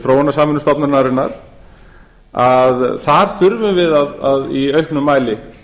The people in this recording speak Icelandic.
þróunarsamvinnustofnunarinnar að þar þurfum við í auknum mæli